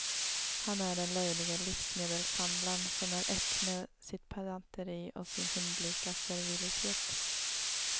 Han är den löjlige livsmedelshandlarn som är ett med sitt pedanteri och sin hundlika servilitet.